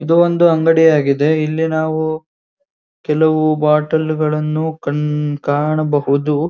ಇದು ಒಂದು ಅಂಗಡಿ ಆಗಿದೆ ಇಲ್ಲಿ ನಾವು ಕೆಲವು ಬಾಟಲಗಳನ್ನು ಕಣ್ಣ್ ಕಾಣಬಹುದು.